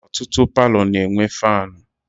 Ọtụtụ palọ na-enwe faanụ.